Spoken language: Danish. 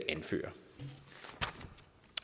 anfører